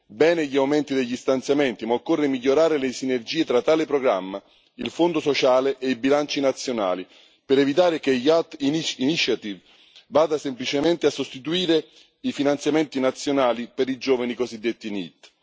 Bene gli aumenti degli stanziamenti, ma occorre migliorare le sinergie tra tale programma, il fondo sociale e bilanci nazionali, per evitare che l'iniziativa per l'occupazione giovanile vada semplicemente a sostituire i finanziamenti nazionali per i giovani cosiddetti NEET.